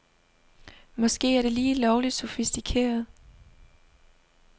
Måske er det lige lovligt sofistikeret.